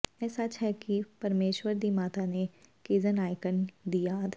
ਇਹ ਸੱਚ ਹੈ ਕਿ ਪਰਮੇਸ਼ੁਰ ਦੀ ਮਾਤਾ ਦੇ ਕੇਜ਼ਨ ਆਈਕਾਨ ਦੀ ਯਾਦ